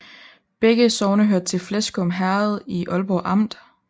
Begge sogne hørte til Fleskum Herred i Ålborg Amt